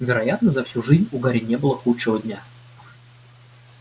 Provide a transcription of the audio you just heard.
вероятно за всю жизнь у гарри не было худшего дня